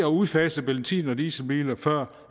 udfase benzin og dieselbiler før